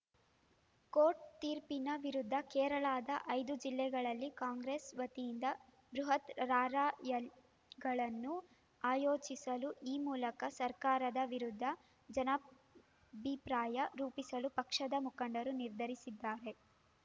court ತೀರ್ಪಿನ ವಿರುದ್ಧ ಕೇರಳದ ಐದು ಜಿಲ್ಲೆಗಳಲ್ಲಿ ಕಾಂಗ್ರೆಸ್‌ ವತಿಯಿಂದ ಬೃಹತ್‌ ರಾರ‍ಯಲ್ ಗಳನ್ನೂ ಆಯೋಜಿಸಲು ಈ ಮೂಲಕ ಸರ್ಕಾರದ ವಿರುದ್ಧ ಜನಾಭಿಪ್ರಾಯ ರೂಪಿಸಲು ಪಕ್ಷದ ಮುಖಂಡರು ನಿರ್ಧರಿಸಿದ್ದಾರೆ